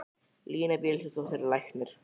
Lína Vilhjálmsdóttir er læknir.